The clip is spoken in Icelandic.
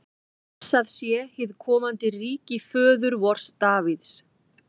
Blessað sé hið komandi ríki föður vors Davíðs!